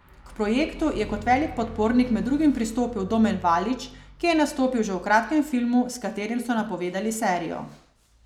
K projektu je kot velik podpornik med drugim pristopil Domen Valič, ki je nastopil že v kratkem filmu, s katerim so napovedali serijo.